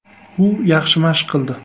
U yaxshi mashq qildi.